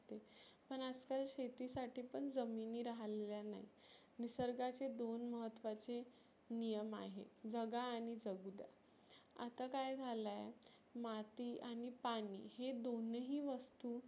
पण आज काल शेती साठी पण जमिनी राहलेल्या नाही. निसर्गाचे दोन महत्वाचे नियम आहे जगा आणि जगुद्या. आता काय झालय माती आणि पाणी हे दोनही वस्तु